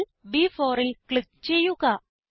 cell B4ൽ click ചെയ്യുക